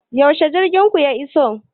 Yaushe jirgin ku ya iso?